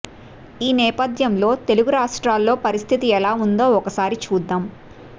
ఈ నేపథ్యంలో తెలుగు రాష్ట్రాల్లో పరిస్థితి ఎలా ఉందో ఒకసారి చూద్దాం